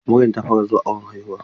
Maryam ta fara zuwa awon haihuwa.